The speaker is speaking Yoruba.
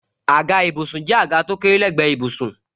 Àga ìbùsùn jẹ́ àga tó kéré lé gbe ìbùsùn.